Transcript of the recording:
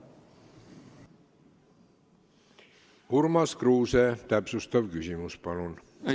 Urmas Kruuse, täpsustav küsimus, palun!